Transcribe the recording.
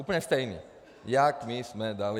Úplně stejný, jak my jsme dali.